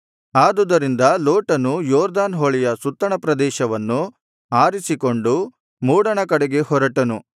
ಆದುದರಿಂದ ಲೋಟನು ಯೊರ್ದನ್ ಹೊಳೆಯ ಸುತ್ತಣ ಪ್ರದೇಶವನ್ನು ಆರಿಸಿಕೊಂಡು ಮೂಡಣ ಕಡೆಗೆ ಹೊರಟನು